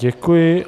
Děkuji.